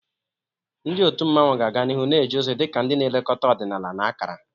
Ndị otu mmanwu ga-aga n'ihu na-eje ozi dị ka ndị na-elekọta ọdịnala na akara.